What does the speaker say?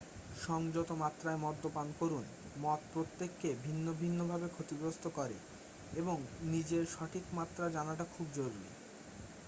সংযত মাত্রায় মদ্যপান করুন মদ প্রত্যেককে ভিন্ন ভিন্ন ভাবে ক্ষতিগ্রস্ত করে এবং নিজের সঠিক মাত্রা জানাটা খুব জরুরি